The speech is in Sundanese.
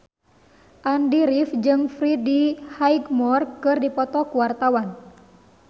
Andy rif jeung Freddie Highmore keur dipoto ku wartawan